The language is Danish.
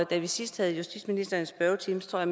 da vi sidst havde justitsministeren i spørgetiden tror